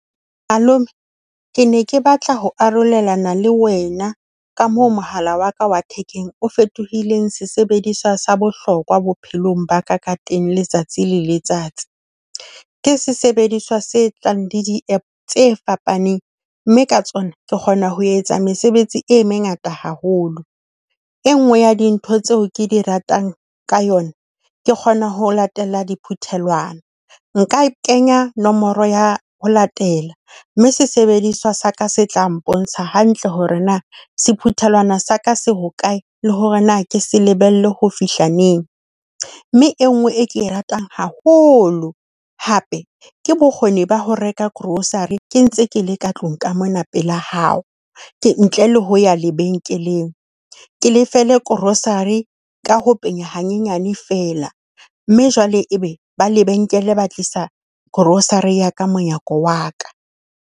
Hello mme ke ne ke batla ho arolelana le wena ka moo mohala wa ka wa thekeng o fetohileng sesebediswa sa bohlokwa bophelong ba ka ka teng, letsatsi le letsatsi. Ke sesebediswa se tlang le di-App tse fapaneng, mme ka tsona ke kgona ho etsa mesebetsi e mengata haholo. E nngwe ya dintho tseo ke di ratang ka yona, ke kgona ho latela diphuthelwana. Nka kenya nomoro ya ho latela, mme sesebediswa saka se tla mpontsha hantle hore na sephuthelwana sa ka se hokae, le hore na ke se lebelle ho fihla neng. Mme e nngwe e ke e ratang haholo hape, ke bokgoni ba ho reka grocery ke ntse ke le ka tlung ka mona pela hao, ntle le ho ya lebenkeleng. Ke lefelle grocery ka ho penya hanyenyane feela, mme jwale e be ba lebenkele ba tlisa grocery ya ka monyako wa ka.